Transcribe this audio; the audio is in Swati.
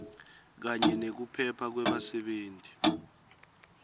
kanye nekuphepha kwebasebenti